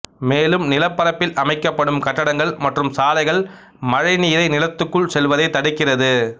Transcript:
மேலும் நிலப்பரப்பில் அமைக்கப்படும் கட்டடங்கள் மற்றும் சாலைகள் மழை நீரை நிலத்துக்குள் செல்வதை தடுக்கிறது